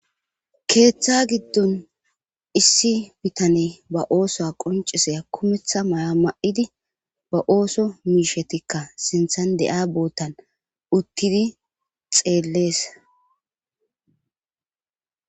keeththa giddon issi bitane ba oosoa qonciseya kumetha may7a ma7idi ba ooso miishetikka sinthan de7aa boottan uttidi xeellees